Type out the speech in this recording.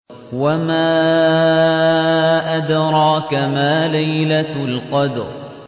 وَمَا أَدْرَاكَ مَا لَيْلَةُ الْقَدْرِ